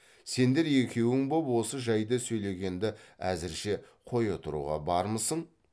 сендер екеуің боп осы жайды сөйлегенді әзірше қоя тұруға бармысың